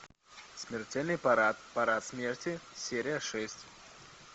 смертельный парад парад смерти серия шесть